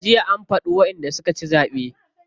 Jiya an faɗi wanda suka ci zaɓe.